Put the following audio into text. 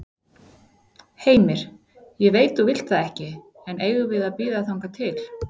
Heimir: Ég veit þú vilt það ekki, en eigum við að bíða þangað til?